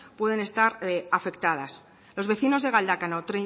pueden estar afectadas los vecinos de galdakao